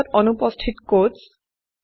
strings ত অনুপস্থিত coats